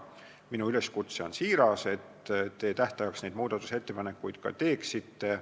Minu üleskutse on siiras, et te tähtajaks neid muudatusettepanekuid ka teeksite.